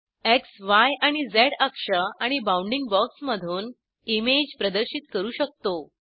xय आणि झ अक्ष आणि बाऊनडिंग बॉक्समधून इमेज प्रदर्शित करू शकतो